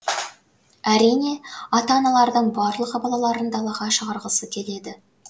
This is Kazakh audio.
әрине ата аналардың барлығы балаларын далаға шығарғысы келеді